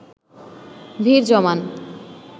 ভিড় জমান